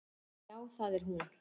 Já, það er hún.